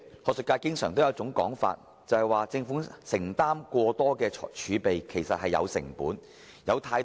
主席，學術界有一種說法，就是政府坐擁過多儲備，其實也是有成本的。